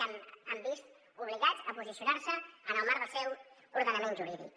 que s’han vist obligats a posicionar se en el marc del seu ordenament jurídic